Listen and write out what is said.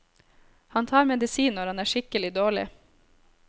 Han tar medisin når han er skikkelig dårlig.